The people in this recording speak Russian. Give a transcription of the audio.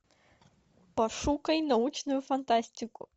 пошукай научную фантастику